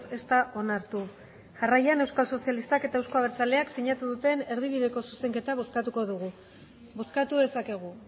ez da onartu jarraian euskal sozialistak eta euzko abertzaleak sinatu duten erdibideko zuzenketa bozkatuko dugu bozkatu dezakegu